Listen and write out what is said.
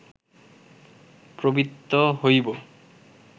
প্রবৃত্ত হইব